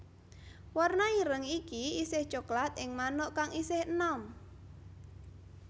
Warna ireng iki isih coklat ing manuk kang isih enom